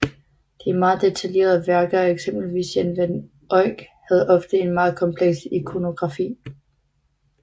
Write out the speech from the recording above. De meget detaljerede værker af eksempelvis Jan van Eyck havde ofte en meget kompleks ikonografi